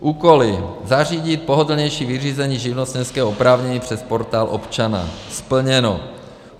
Úkoly: zařídit pohodlnější vyřízení živnostenského oprávnění přes Portál občana - splněno.